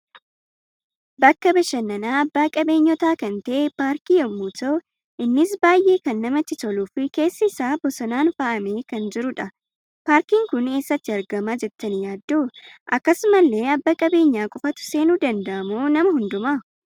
BAkka bashannaan abba qabeenyoota kan ta'e paarkii yemmuu ta'u, innis baay'ee kan namatti toluu fi keessi isaa bosonaan faayamee kan jirudha. paarkiin kun eessatti argama jettani yaaddu? Akkasumallee abba qabeenya qofatu seenu danda'amo nama hunduma?